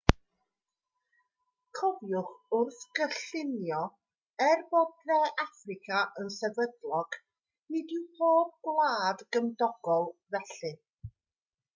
cofiwch wrth gynllunio er bod de affrica yn sefydlog nid yw pob gwlad gymdogol felly